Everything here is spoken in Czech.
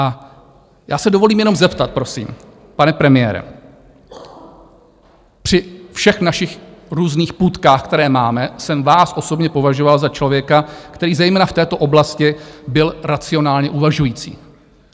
A já si dovolím jenom zeptat, prosím, pane premiére, při všech našich různých půtkách, které máme, jsem vás osobně považoval za člověka, který zejména v této oblasti byl racionálně uvažující.